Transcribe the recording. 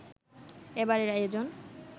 এবারের আয়োজন